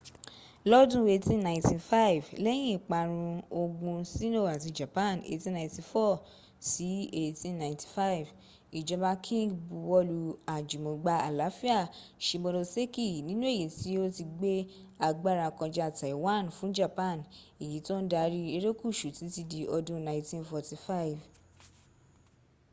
lọ́dún 1895 lẹ́yìn ìparun ogun sino àti japan 1894-1895 ìjọba qing buwọ́lu àjùmọgbà àláfíà shimonoseki nínú èyí tí ó ti gbé agbára kọja taiwan fún japan èyí tó ń darí erékùsù títí dí odún 1945